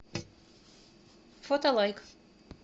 фотолайк